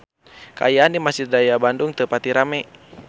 Kaayaan di Mesjid Raya Bandung teu pati rame